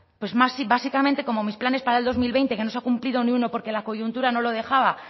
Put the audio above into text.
pues básicamente como mis planes para dos mil veinte que no se ha cumplido ni uno porque la coyuntura no lo dejaba